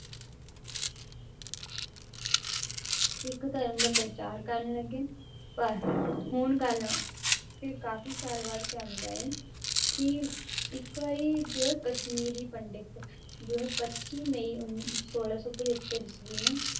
ਸਿੱਖ ਧਰਮ ਦਾ ਪ੍ਰਚਾਰ ਕਰਨ ਲੱਗੇ, ਪਰ ਹੁਣ ਗੱਲ ਫਿਰ ਕਾਫ਼ੀ ਸਾਲ ਬਾਅਦ ਕਿਆ ਹੁੰਦਾ ਹੈ ਕਿ ਇੱਕ ਵਾਰੀ ਜੋ ਹੈ ਕਸ਼ਮੀਰੀ ਪੰਡਿਤ ਜੋ ਹੈ ਪੱਚੀ ਮਈ ਉੱਨ~ ਛੋਲਾਂ ਸੌ ਪਜੱਤਰ ਈਸਵੀ ਨੂੰ